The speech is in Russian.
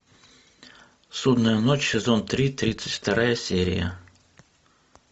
судная ночь сезон три тридцать вторая серия